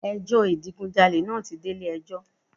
Ẹ jọ́ ìdigunjalè naa ti de Ilé ẹjọ́